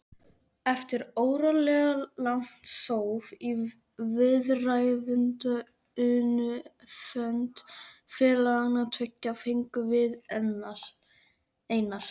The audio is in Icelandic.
Eftir óralangt þóf í viðræðunefnd félaganna tveggja fengum við Einar